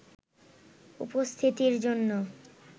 উপস্থিতির জন্য